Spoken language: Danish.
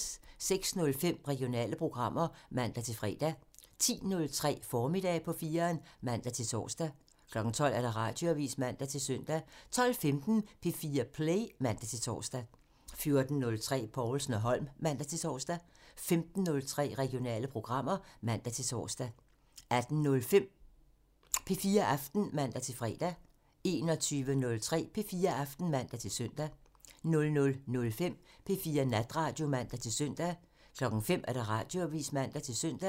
06:05: Regionale programmer (man-fre) 10:03: Formiddag på 4'eren (man-tor) 12:00: Radioavisen (man-søn) 12:15: P4 Play (man-tor) 14:03: Povlsen & Holm (man-tor) 15:03: Regionale programmer (man-tor) 18:05: P4 Aften (man-fre) 21:03: P4 Aften (man-søn) 00:05: P4 Natradio (man-søn) 05:00: Radioavisen (man-søn)